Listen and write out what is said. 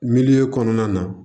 Miliyɔn kɔnɔna na